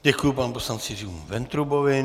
Děkuji panu poslanci Jiřímu Ventrubovi.